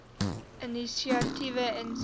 inisiatiewe insien